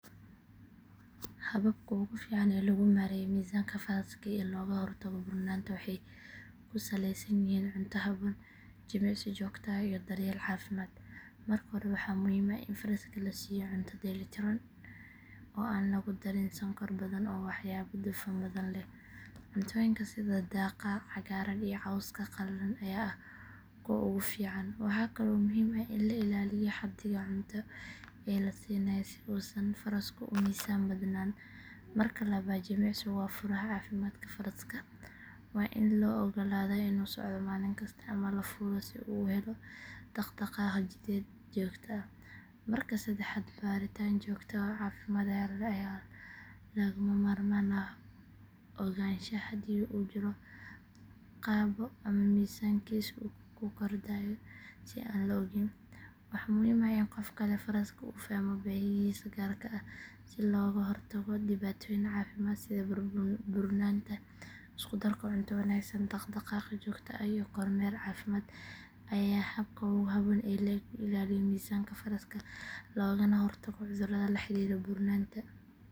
Hababka ugu fiican ee lagu maareeyo miisaanka faraska iyo looga hortago burnaanta waxay ku saleysan yihiin cunto habboon, jimicsi joogto ah iyo daryeel caafimaad. Marka hore waxaa muhiim ah in faraska la siiyo cunto dheellitiran oo aan lagu darin sonkor badan ama waxyaabo dufan badan leh. Cuntooyinka sida daaqa cagaaran iyo cawska qalalan ayaa ah kuwa ugu fiican. Waxaa kale oo muhiim ah in la ilaaliyo xaddiga cunto ee la siinayo si uusan farasku u miisaan badnaan. Marka labaad, jimicsigu waa furaha caafimaadka faraska. Waa in loo oggolaadaa inuu socdo maalin kasta ama la fuulo si uu u helo dhaqdhaqaaq jidheed joogto ah. Marka saddexaad, baaritaan joogto ah oo caafimaad ayaa lagama maarmaan u ah ogaanshaha haddii uu jirro qabo ama miisaankiisu ku kordhayo si aan la ogayn. Waxaa muhiim ah in qofka leh faraska uu fahmo baahiyihiisa gaarka ah si looga hortago dhibaatooyin caafimaad sida burnaanta. Isku darka cunto wanaagsan, dhaqdhaqaaq joogto ah iyo kormeer caafimaad ayaa ah habka ugu habboon ee lagu ilaaliyo miisaanka faraska loogana hortago cudurrada la xiriira burnaanta.